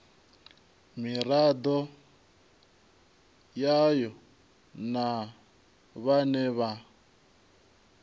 miraḓo yayo na vhane vha